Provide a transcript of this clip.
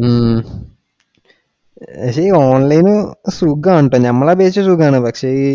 ഉം പക്ഷെ ഈ online സുഖവാണ് കേട്ടോ. നമ്മളെ അപേക്ഷിച്ചു സുഖവാണ്. പക്ഷെ ഈ